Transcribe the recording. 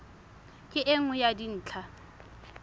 ke e nngwe ya dintlha